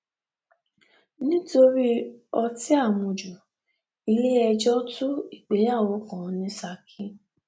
nítorí ọtí àmú ju iléẹjọ tú ìgbéyàwó ká ní saki